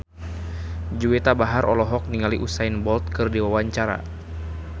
Juwita Bahar olohok ningali Usain Bolt keur diwawancara